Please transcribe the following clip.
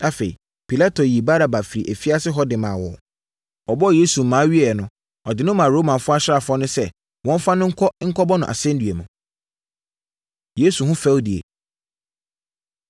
Afei Pilato yii Baraba firii afiase hɔ de no maa wɔn. Ɔbɔɔ Yesu mmaa wieeɛ no, ɔde no maa Roma asraafoɔ no sɛ wɔmfa no nkɔ nkɔbɔ no asɛnnua mu. Yesu Ho Fɛdie